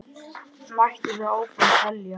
Mætti svo áfram telja.